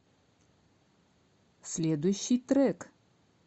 следующий трек